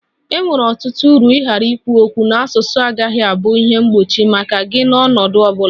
E nwere ọtụtụ uru ịghara ikwu okwu n'asụsụ agaghị abụ ihe mgbochi maka gị n'ọnọdụ ọ bụla